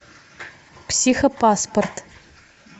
психопаспорт